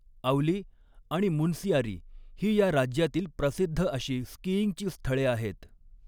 औली आणि मुनसियारी ही या राज्यातील प्रसिद्ध अशी स्कीईंगची स्थळे आहेत.